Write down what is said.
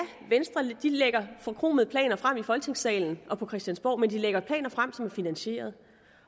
venstre lægger forkromede planer frem i folketingssalen og på christiansborg men de lægger planer frem som er finansieret